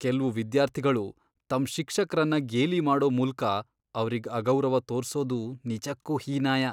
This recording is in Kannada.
ಕೆಲ್ವು ವಿದ್ಯಾರ್ಥಿಗಳು ತಮ್ ಶಿಕ್ಷಕ್ರನ್ನ ಗೇಲಿ ಮಾಡೋ ಮೂಲ್ಕ ಅವ್ರಿಗ್ ಅಗೌರವ ತೋರ್ಸೋದು ನಿಜಕ್ಕೂ ಹೀನಾಯ.